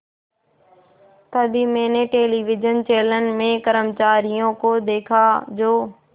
तभी मैंने television channel के कर्मचारियों को देखा जो